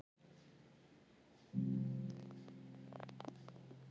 Hrotur heyrðust frá litla svefnherberginu.